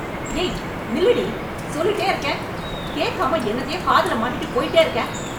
ஏய், நில்லுடி... சொல்லிட்டே இருக்கேன், கேக்காம, என்னத்தையோ காதுல மாட்டிகிட்டு போய்ட்டே இருக்கே...